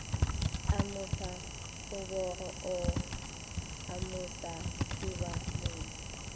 amuša kgobogo o amuša thubamotse